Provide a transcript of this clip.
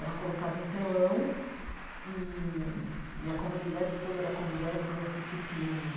Era colocado um telão e e a comunidade toda era convidada para ir assistir filmes.